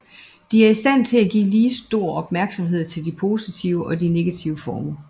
De er i stand til at give lige stor opmærksomhed til de positive og negative former